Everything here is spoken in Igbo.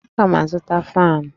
Aga m azụta faanụ?